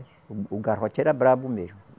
O o garrote era bravo mesmo.